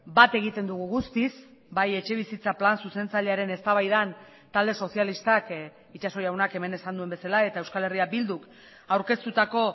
bat egiten dugu guztiz bai etxebizitza plan zuzentzailearen eztabaidan talde sozialistak itxaso jaunak hemen esan duen bezala eta euskal herria bilduk aurkeztutako